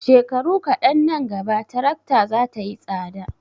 Shekaru kaɗan nan gaba tarakta za ta yi tsada.